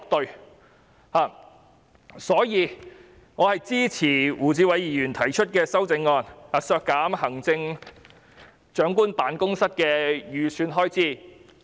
因此，我支持胡志偉議員提出的修正案，削減行政長官辦公室的全年預算開支。